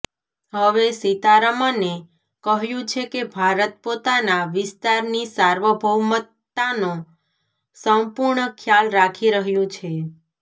હવે સીતારમને ક્હ્યું છે કે ભારત પોતાના વિસ્તારની સાર્વભૌમતાનો સંપૂર્ણ ખ્યાલ રાખી રહ્યું છે